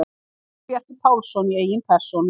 Sigurbjartur Pálsson í eigin persónu!